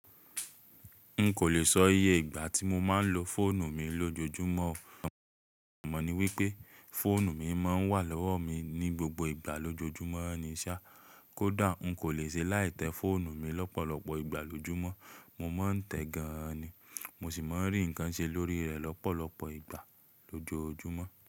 N kò lè sọ iye ìgbà tí mo máa ń lo fóònù mi lójojúmọ́, àmọ́ ní wípé fóònù mi máa ń wà lọ́wọ́ mi ní gbogbo ìgbà lójojúmọ́ ní iṣẹ́. Kódà n kò lè ṣe láì tẹ fóònù mi lọ́pọ̀lọpọ̀ ìgbà lójojúmọ́. Mo ma ń tẹ gan an ni, mo sì ma ń rí ǹkan ṣe lórí rẹ̀ lọ́pọ̀lọpọ̀ ìgbà lójojúmọ́.